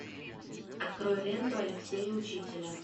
открой ленту алексея учителя